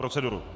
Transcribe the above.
Proceduru.